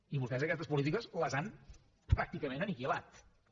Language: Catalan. i vostès aquestes polítiques les han pràcticament aniquilades